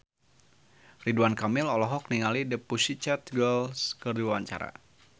Ridwan Kamil olohok ningali The Pussycat Dolls keur diwawancara